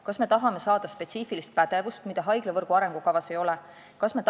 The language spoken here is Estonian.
Kas me tahame saada spetsiifilist pädevust, mida haiglavõrgu arengukavas ei ole?